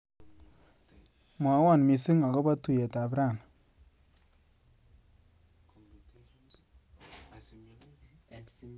Mwawa missing akobo tuiyetab rani.